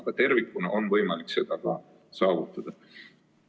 Aga tervikuna on võimalik seda saavutada.